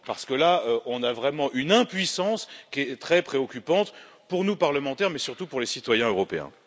Parce qu'on a vraiment une impuissance qui est très préoccupante, pour nous, parlementaires, mais surtout pour les citoyens européens.